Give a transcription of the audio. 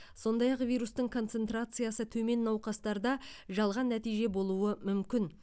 сондай ақ вирустың концентрациясы төмен науқастарда жалған нәтиже болуы мүмкін